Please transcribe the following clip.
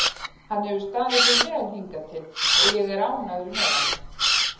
Hann hefur staðið sig vel hingað til og ég er ánægður með hann.